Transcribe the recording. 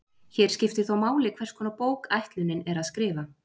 Hér skiptir þó máli hvers konar bók ætlunin er að skrifa.